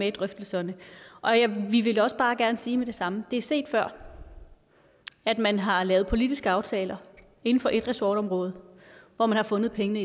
i drøftelserne vi vil også bare gerne sige med det samme det er set før at man har lavet politiske aftaler inden for et ressortområde hvor man har fundet pengene